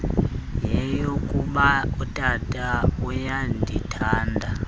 yeyokuba utata uyandithanda